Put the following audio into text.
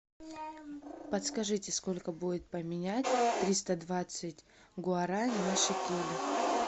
подскажите сколько будет поменять триста двадцать гуарани на шекели